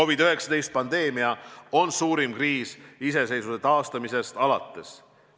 COVID-19 pandeemia on suurim kriis riigi iseseisvuse taastamisest alates.